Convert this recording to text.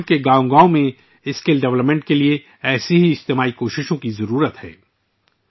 آج ملک کے ہر گاؤں میں اسکل ڈیولپمنٹ کے لیے ایسی اجتماعی کوششوں کی ضرورت ہے